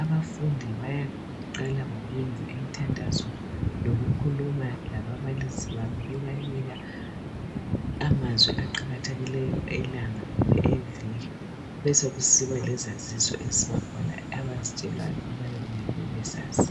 Abafundi bayabe beqala ngokwenza imthandayo lokukhuluma lababalisi babo bebanika amazwi aqakathekileyo elanga kumbe eviki besokusiba lezazizo ezibakhona abazitshelwayo ngoba kuyabe kumele babe zazi.